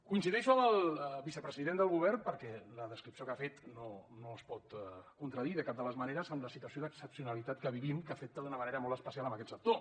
coincideixo amb el vicepresident del govern perquè la descripció que ha fet no es pot contradir de cap de les maneres amb la situació d’excepcionalitat que vivim que afecta d’una manera molt especial aquest sector